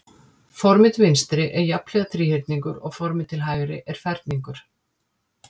Formið til vinstri er jafnhliða þríhyrningur og formið til hægri er ferningur.